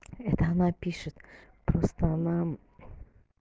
это она пишет просто она